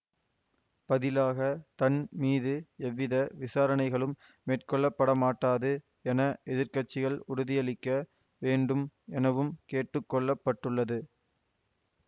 பதிலாக தன் மீது எவ்வித விசாரணைகளும் மேற்கொள்ளப்படமாட்டாது என எதிர் கட்சிகள் உறுதியளிக்க வேண்டும் எனவும் கேட்டுக்கொள்ளப்பட்டுள்ளது